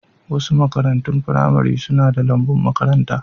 Wasu makarantun firamare suna da lambun makaranta.